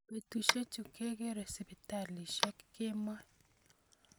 betusiechu kekeere sipitalisiek kemoi